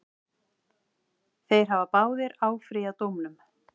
Þeir hafa báðir áfrýjað dómnum.